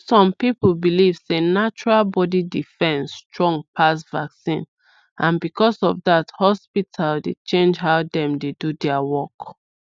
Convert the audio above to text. some people believe sey natural body defence strong pass vaccine and because of that hospital dey change how dem dey do their work